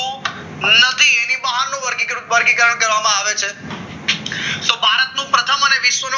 નદી અને તેની બહારનું વર્ગીકરણ કરવામાં આવે છે તો ભારતનું પ્રથમ અને વિશ્વનું